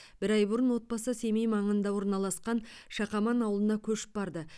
бір ай бұрын отбасы семей маңында орналасқан шақаман ауылына көшіп барды